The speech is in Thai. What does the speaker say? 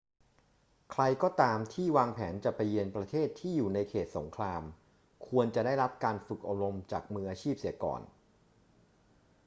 ใครก็ตามที่วางแผนจะไปเยือนประเทศที่อยู่ในเขตสงครามควรจะได้รับการฝึกอบรมจากมืออาชีพเสียก่อน